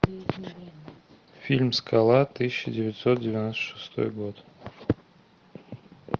фильм скала тысяча девятьсот девяносто шестой год